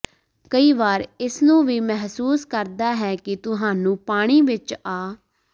ਕਈ ਵਾਰ ਇਸ ਨੂੰ ਵੀ ਮਹਿਸੂਸ ਕਰਦਾ ਹੈ ਕਿ ਤੁਹਾਨੂੰ ਪਾਣੀ ਵਿੱਚ ਆ